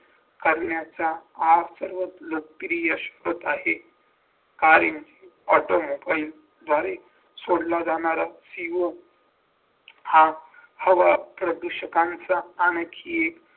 करण्याचा आज सर्वात लटक्रियशपत आहे automobile द्वारे सोडला जाणारा हा हवा प्रदूषकांचा आणखी